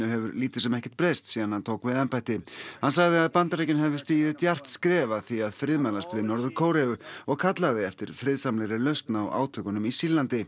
hefur lítið sem ekkert breyst síðan hann tók við embætti hann sagði að Bandaríkin hefðu stigið djarft skref að því að friðmælast við Norður Kóreu og kallaði eftir friðsamlegri lausn á átökunum í Sýrlandi